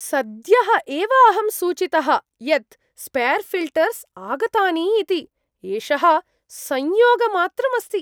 सद्यः एव अहं सूचितः यत् स्पेर् ऴिल्टर्स् आगतानि इति। एषः संयोगमात्रम् अस्ति।